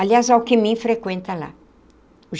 Aliás, Alckmin frequenta lá.